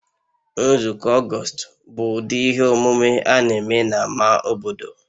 Nzukọ August bụ ụdị ihe omume a na-eme na ama obodo